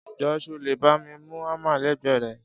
Jọ sọ lẹ bàmí mú àmá lẹgbe rẹ?